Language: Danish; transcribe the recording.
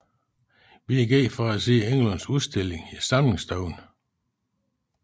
Vi gik ind for at se Engelunds udstilling i samlingsstuen